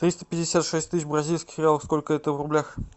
триста пятьдесят шесть тысяч бразильских реалов сколько это в рублях